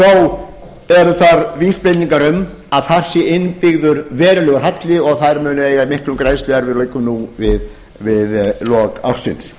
þó eru þar vísbendingar um að þar sé innbyggður verulegur halli og þær muni eiga í miklum greiðsluerfiðleikum nú við lok ársins